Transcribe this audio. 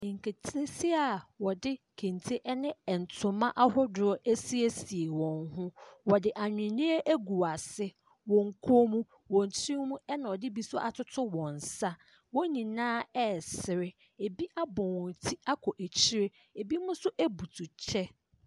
Nketeesia a wɔde kente ne ntoma ahodoɔ asiesie wɔn ho. Wɔde ahwenew agu wɔn asene, wɔn kɔn mu, wɔn tiri mu, ɛna wɔde bi nso atoto wɔn nsa. Wɔn nyinaa resere. Ɛbi abɔ wɔn ti akɔ akyire. Ɛbinom nso butu kyɛ.